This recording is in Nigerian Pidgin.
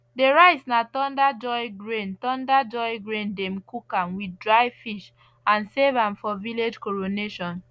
the rice na thunder joy grain thunder joy grain dem cook am with dry fish and serve am for village coronation